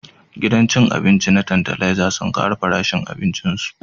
Gidan cin abinci na Tantalizer sun kara farashin abincin su